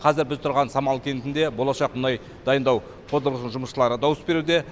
қазір біз тұрған самал кентінде болашақ мұнай дайындау қондырғысының жұмысшылары дауыс беруде